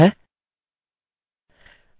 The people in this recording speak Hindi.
हमने अपना पहला टाइपिंग पाठ सीख लिया है